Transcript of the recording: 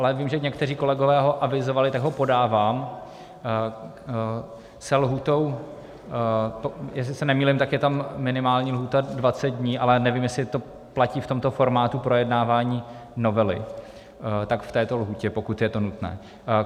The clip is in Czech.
Ale vím, že někteří kolegové ho avizovali, tak ho podávám - se lhůtou, jestli se nemýlím, tak je tam minimální lhůta 20 dní, ale nevím, jestli to platí v tomto formátu projednávání novely, tak v této lhůtě, pokud je to nutné.